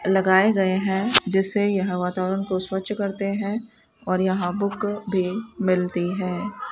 लगाए गए हैं जिससे यह वातावरण को स्वच्छ करते हैं और यहां बुक भी मिलती है।